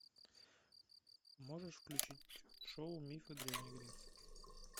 можешь включить шоу мифы древней греции